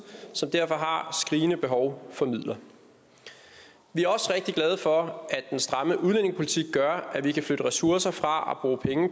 som derfor har skrigende behov for midler vi er også rigtig glade for at den stramme udlændingepolitik gør at vi kan flytte ressourcer fra